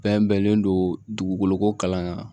Bɛɛ bɛnnen don dugukolo ko kalan kan